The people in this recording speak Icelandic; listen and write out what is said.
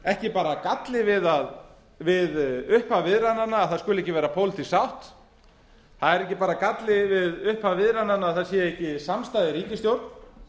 ekki bara galli við upphaf viðræðnanna að það skuli ekki vera pólitísk sátt það er ekki bara galli við upphaf viðræðnanna að það sé ekki samstaða í ríkisstjórn